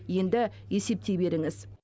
енді есептей беріңіз